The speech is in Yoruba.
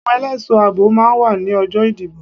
Àwọn ẹlẹ́ẹ̀ṣọ́ àbò máa wá ní ọjọ́ ìdìbò.